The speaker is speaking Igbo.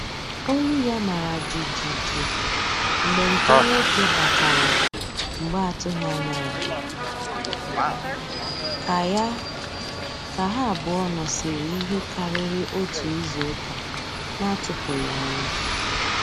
Olu ya mara jijiji mgbe nke nwoke batara mgbe atụghị anya ya, ka ya, ka ha abụọ nọsiri ihe karịrị otu izuụka na-atụpụghi ọnụ